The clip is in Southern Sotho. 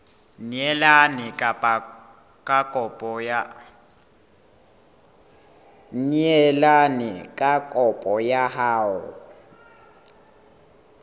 neelane ka kopo ya hao